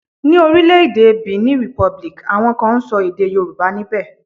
Ni orile-ede Benin Republic, awon kan n so ede Yoruba nibe.